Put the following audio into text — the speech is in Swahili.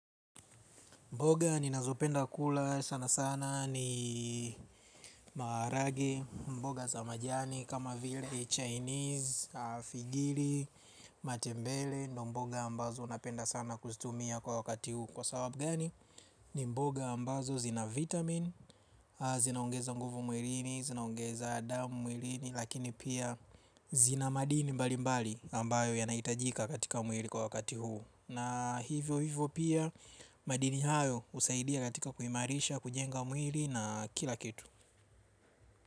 Mboga ninazopenda kula sana sana ni maharage, mboga za majani kama vile chinese, afigili, matembele, ndio mboga ambazo napenda sana kuzitumia kwa wakati huu, kwa sababu gani, ni mboga ambazo zina "vitamin". Zinaongeza nguvu mwilini, zinaongeza damu mwilini lakini pia, zina madini mbali mbali ambayo yanahitajika katika mwili kwa wakati huu. Na hivyo hivyo pia madini hayo husaidia katika kuhimarisha kujenga mwili na kila kitu.